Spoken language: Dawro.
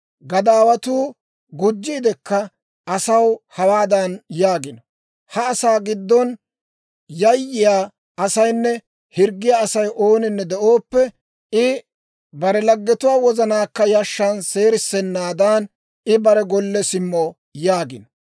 «Gadaawatuu gujjiidikka asaw hawaadan yaagino; ‹Ha asaa giddon yayyiyaa asaynne hirggiyaa Asay ooninne de'ooppe, I bare laggetuwaa wozanaakka yashshan seerissennaadan I bare golle simmo› yaagino.